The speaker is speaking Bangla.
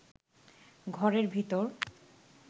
ঘরের ভিতর